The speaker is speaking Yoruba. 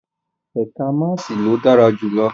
Ẹka maasii lo dara julọ